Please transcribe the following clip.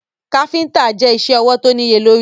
Káfíntà je isẹ́ ọwọ̀ tó níye lórí.